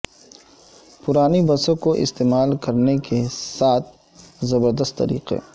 پرانی بسوں کو استعمال کرنے کے سات زبر دست طریقے